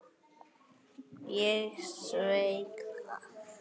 Ég sveik það.